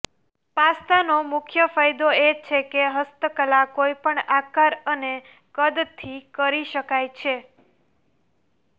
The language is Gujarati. પાસ્તાનો મુખ્ય ફાયદો એ છે કે હસ્તકલા કોઈપણ આકાર અને કદથી કરી શકાય છે